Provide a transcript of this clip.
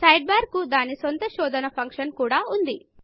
side bar కు దాని సొంత శోధన ఫంక్షన్ కూడా ఉంది